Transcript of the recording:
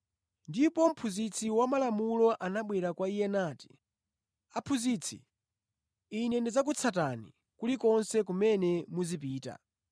Ndipo mphunzitsi wa malamulo anabwera kwa Iye nati, “Aphunzitsi, ine ndidzakutsatani kulikonse kumene muzipita.”